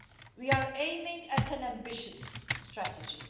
We are aiming at an ambitious strategy.